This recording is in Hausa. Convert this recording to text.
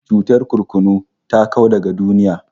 Cutar kurkunu ta kau daga duniya